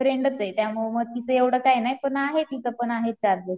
फ्रेंडचे त्यामुळे तीच एव्हडं काही नाही. पण आहे तिचेपं आहे चार्जेस.